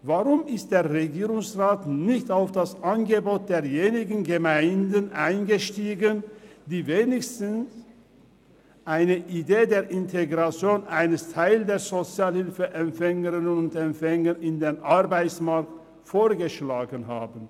Weshalb ist der Regierungsrat nicht auf das Angebot derjenigen Gemeinden eingestiegen, die wenigstens eine Idee der Integration eines Teils der Sozialhilfeempfängerinnen und -empfänger in den Arbeitsmarkt vorgeschlagen haben?